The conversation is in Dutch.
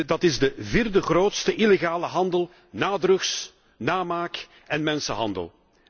Dat is de vierde grootste illegale handel na drugs, namaak en mensenhandel.